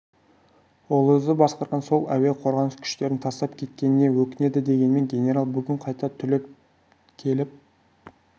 ол өзі басқарған сол әуе қорғаныс күштерін тастап кеткеніне өкінеді дегенмен генерал бүгін қайта түлеп келіп